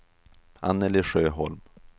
Annelie Sjöholm